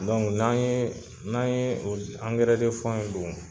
Dɔnku n'an ye n'an ye angɛrɛ de fɔ in don